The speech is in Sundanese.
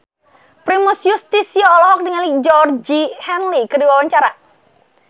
Primus Yustisio olohok ningali Georgie Henley keur diwawancara